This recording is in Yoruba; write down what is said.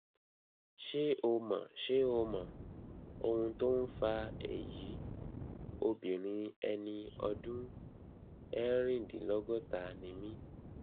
ṣé o mọ ṣé o mọ ohun tó ń fa èyí obìnrin ẹni ọdún erindinlogota ni mí